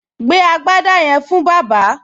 Gbé agbádá yẹn fún bàbá!